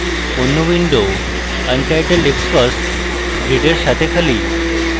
অন্য window untitledxcos grids সাথে খালি